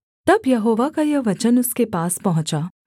तब यहोवा का यह वचन उसके पास पहुँचा